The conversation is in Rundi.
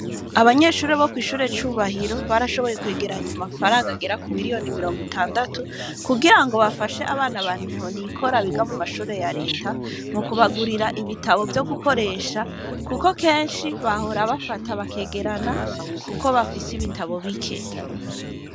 Abanyeshure bo kw’ishure Cubahiro, barashoboye kwegeranya amafaranga agera ku miriyoni mirongo itandatu, kugira ngo bafashe abana ba ntahonikora biga mu mashure ya leta, mu kubagurira ibitabo vyo gukoresha, kuko kenshi bahora bafata bakegerana, kuko bafise ibitabo bike.